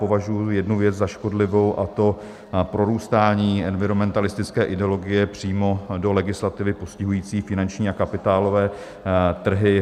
Považuji jednu věc za škodlivou, a to prorůstání environmentalistické ideologie přímo do legislativy postihující finanční a kapitálové trhy.